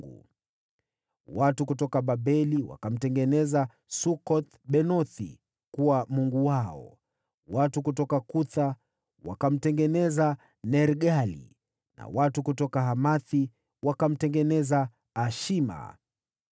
Watu kutoka Babeli wakamtengeneza Sukoth-Benothi kuwa mungu wao, watu kutoka Kutha wakamtengeneza Nergali, na watu kutoka Hamathi wakamtengeneza Ashima;